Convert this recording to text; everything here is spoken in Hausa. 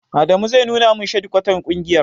Adamu zai nuna min shadikwatar ƙungiyar.